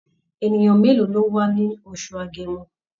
Ènìyàn mélòó ló wá ní oṣù Agẹmọ?